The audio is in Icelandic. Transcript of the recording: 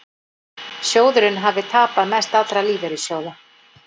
Sjóðurinn hafi tapað mest allra lífeyrissjóða